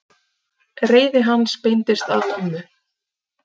Reiði hans beindist að mömmu.